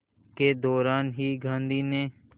के दौरान ही गांधी ने